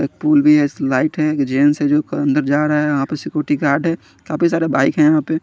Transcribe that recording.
slide है gents है जो अंदर जा रहे है आपस में कुछ काफी सारी बाइक है यहाँ पे--